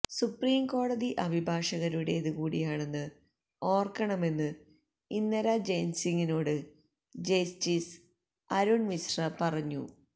supreme കോടതി അഭിഭാഷകരുടേത് കൂടിയാണെന്ന് ഓർക്കണമെന്ന് ഇന്ദിരാ ജയ്സിംഗിനോട് ജസ്റ്റിസ് അരുൺ മിശ്ര പറഞ്ഞു